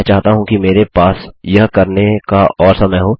मैं चाहता हूँ कि मेरे पास यह करने का और समय हो